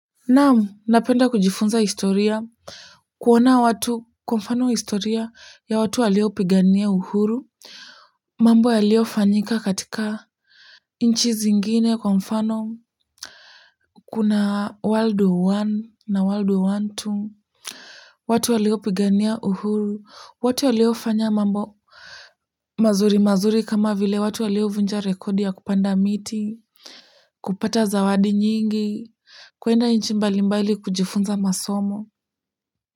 Naam, napenda kujifunza historia, kuona watu kwa mfano historia ya watu waliopigania uhuru. Mambo yaliofanyika katika inchi zingine kwa mfano, kuna world war one na world war one two watu waliopigania uhuru, watu waliofanya mambo, mazuri mazuri kama vile watu waliovunja rekodi ya kupanda miti, kupata zawadi nyingi, kwenda inchi mbali mbali kujifunza masomo.